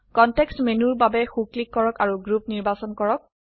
context মেনুৰ বাবে so click কৰক আৰু গ্ৰুপ গ্ৰুপ নিৰ্বাচন কৰক